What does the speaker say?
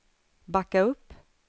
backa upp